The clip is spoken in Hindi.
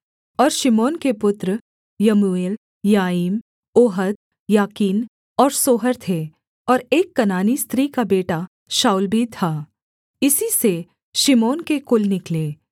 और शिमोन के पुत्र यमूएल यामीन ओहद याकीन और सोहर थे और एक कनानी स्त्री का बेटा शाऊल भी था इन्हीं से शिमोन के कुल निकले